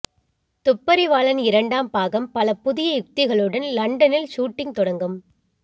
துப்பரிவாளன் இரண்டாம் பாகம் பல புதிய யுக்திகளுடன் லண்டனில் ஷூட்டிங் துடங்கும்